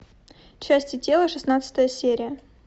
части тела шестнадцатая серия